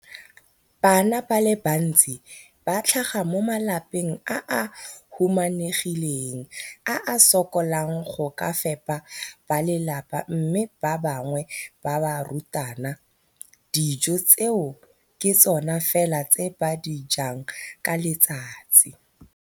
Bana ba le bantsi ba tlhaga mo malapeng a a humanegileng a a sokolang go ka fepa ba lelapa mme ba bangwe ba barutwana, dijo tseo ke tsona fela tse ba di jang ka letsatsi.